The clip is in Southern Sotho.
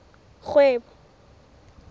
kgwebo